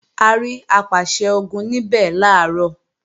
A máa rí Apàṣẹ-Ogun níbẹ̀ làárọ̀